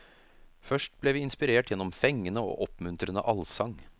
Først ble vi inspirert gjennom fengende og oppmuntrende allsang.